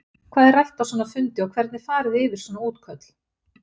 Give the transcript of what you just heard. Hvað er rætt á svona fundi og hvernig fari þið yfir svona útköll?